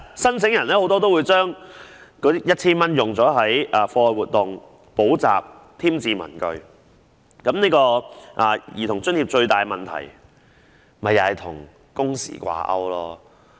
申請人大多會將這筆錢用於子女的課外活動、補習或添置文具，但兒童津貼的最大問題是與工時掛鈎。